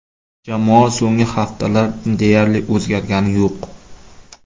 Jamoa so‘nggi haftalar deyarli o‘zgargani yo‘q.